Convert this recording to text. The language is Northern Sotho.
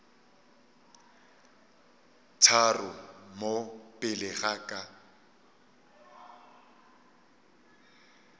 tharo mo pele ga ka